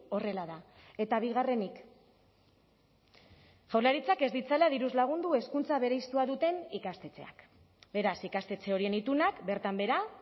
horrela da eta bigarrenik jaurlaritzak ez ditzala diruz lagundu hezkuntza bereiztua duten ikastetxeak beraz ikastetxe horien itunak bertan behera